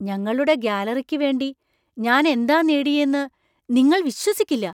ഞങ്ങളുടെ ഗാലറിക്കു വേണ്ടി ഞാനെന്താ നേടിയേന്നു നിങ്ങൾ വിശ്വസിക്കില്ല!